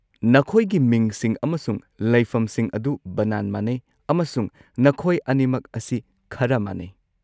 ꯅꯈꯣꯏꯒꯤ ꯃꯤꯡꯁꯤꯡ ꯑꯃꯁꯨꯡ ꯂꯩꯐꯝꯁꯤꯡ ꯑꯗꯨ ꯕꯅꯥꯟ ꯃꯥꯟꯅꯩ, ꯑꯃꯁꯨꯡ ꯅꯈꯣꯏ ꯑꯅꯤꯃꯛ ꯑꯁꯤ ꯈꯔ ꯃꯥꯟꯅꯩ꯫